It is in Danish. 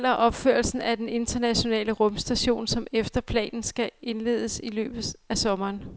Det gælder opførelsen af den internationale rumstation, som efter planen skal indledes i løbet af sommeren.